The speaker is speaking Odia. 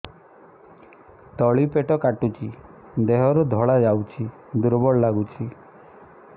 ତଳି ପେଟ କାଟୁଚି ଦେହରୁ ଧଳା ଯାଉଛି ଦୁର୍ବଳ ଲାଗୁଛି